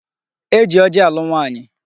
E ji ọjị alụ nwaanyị.